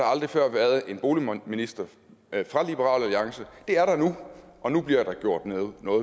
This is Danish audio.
aldrig før været en boligminister fra liberal alliance det er der nu og nu bliver der gjort noget